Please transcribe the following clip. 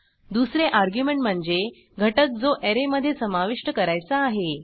दुसरे अर्ग्युमेंट म्हणजे घटक जो ऍरेमधे समाविष्ट करायचा आहे